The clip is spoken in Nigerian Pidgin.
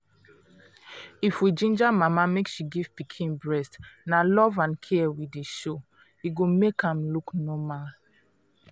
if we ginger mama make she give pikin breastna love and care we dey show e go make am look normal